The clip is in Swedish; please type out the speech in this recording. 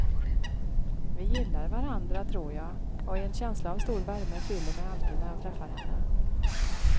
Vi gillar varandra, tror jag, och en känsla av stor värme fyller mig alltid när jag träffar henne.